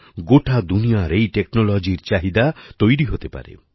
গোটা দুনিয়ায় এই technologyর চাহিদা তৈরি হতে পারে